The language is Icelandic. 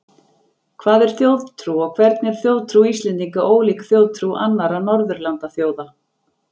hvað er þjóðtrú og hvernig er þjóðtrú íslendinga ólík þjóðtrú annarra norðurlandaþjóða